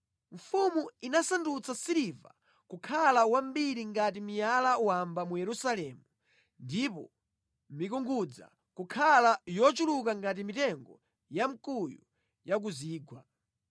Mfumu inasandutsa siliva kukhala wambiri ngati miyala wamba mu Yerusalemu ndipo mikungudza kukhala yochuluka ngati mitengo ya mkuyu ya ku zigwa.